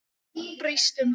Brýst um.